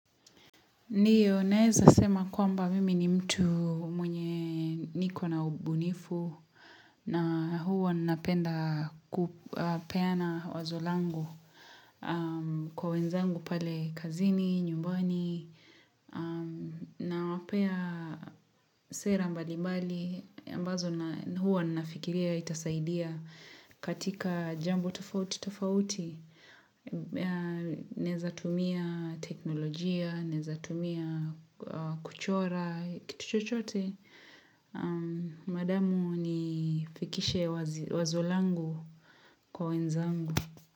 Ndiyo, naeza sema kwamba mimi ni mtu mwenye niko na ubunifu na huwa napenda kupeana wazolangu kwa wenzangu pale kazini, nyumbani na wapea sera mbali mbali. Ambazo huwa nafikiria itasaidia katika jambo tafauti, tafauti, nezatumia teknolojia, nezatumia kuchora, kitu chochote. Madamu nifikishe wazolangu kwa wenzangu.